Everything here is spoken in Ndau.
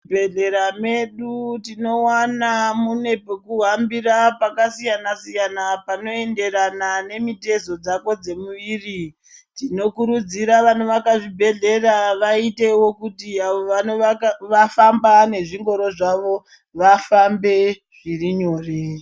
Muzvibhedhlera medu tinowana pekuhambira pakasiyana siyana panoenderana nemutezo dzako dzemuviri tinokurudzira kuti vanowaka zvibhedhlera waitewo kuti awo wanofamba nezvingoro zvawo vafambe zviri nyore.